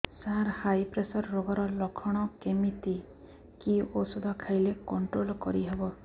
ସାର high pressure ରୋଗର ଲଖଣ କେମିତି କି ଓଷଧ ଖାଇଲେ କଂଟ୍ରୋଲ କରିହେବ